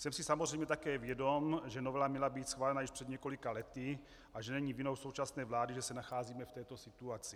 Jsem si samozřejmě také vědom, že novela měla být schválena již před několika lety a že není vinou současné vlády, že se nacházíme v této situaci.